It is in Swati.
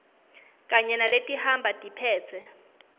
kanye naletihamba tiphetse